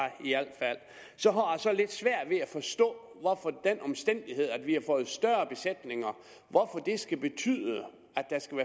så har jeg så lidt svært ved at forstå hvorfor den omstændighed at vi har fået større besætninger skal betyde at der skal